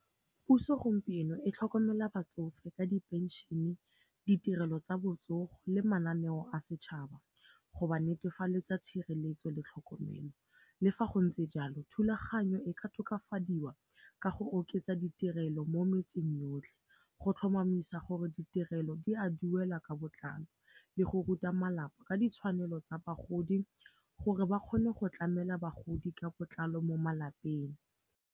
Puso gompieno e tlhokomela batsofe ka diphenšene, ditirelo tsa botsogo le mananeo a setšhaba, go ba netefaletsa tshireletso le tlhokomelo. Le fa go ntse jalo, thulaganyo e ka tokafadiwa ka go oketsa ditirelo mo metseng yotlhe, go tlhomamisa gore ditirelo di a duela ka botlalo le go ruta malapa ka ditshwanelo tsa bagodi gore ba kgone go tlamela bagodi ka botlalo mo malapeng.